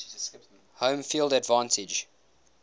home field advantage